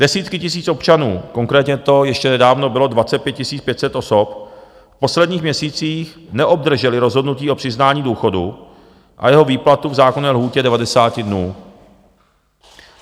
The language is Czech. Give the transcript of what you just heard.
Desítky tisíc občanů, konkrétně to ještě nedávno bylo 25 500 osob, v posledních měsících neobdržely rozhodnutí o přiznání důchodu a jeho výplatu v zákonné lhůtě 90 dnů.